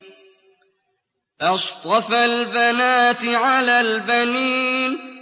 أَصْطَفَى الْبَنَاتِ عَلَى الْبَنِينَ